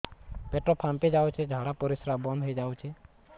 ପେଟ ଫାମ୍ପି ଯାଉଛି ଝାଡା ପରିଶ୍ରା ବନ୍ଦ ହେଇ ଯାଉଛି